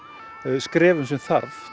skrefum sem þarf